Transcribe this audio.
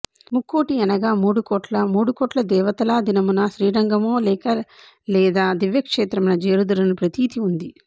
ముక్కోటి యనగా మూడుకోట్ల మూడుకోట్ల దేవతలా దినమున శ్రీరంగమో లేక లేదా దివ్యక్షేత్రమున జేరుదురను ప్రతీతి ఉంది